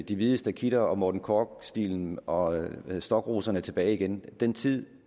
de hvide stakitter og morten korch stilen og stokroserne tilbage igen den tid